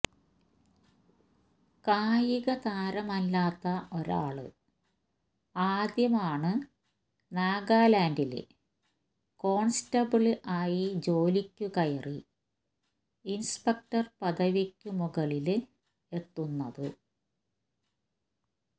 കായിക താരമല്ലാത്ത ഒരാള് ആദ്യമാാണു നാഗാലാന്ഡില് കോണ്സ്റ്റബിള് ആയി ജോലിക്കു കയറി ഇന്സ്പെക്ടര് പദവിക്കു മുകളില് എത്തുന്നത്